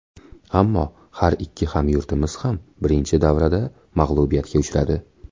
Ammo har ikki hamyurtimiz ham birinchi davrada mag‘lubiyatga uchradi.